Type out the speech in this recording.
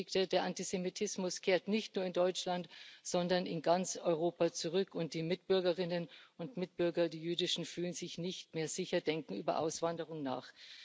Sie bestätigte Der Antisemitismus kehrt nicht nur in Deutschland, sondern in ganz Europa zurück, und die jüdischen Mitbürgerinnen und Mitbürger fühlen sich nicht mehr sicher, denken über Auswanderung nach.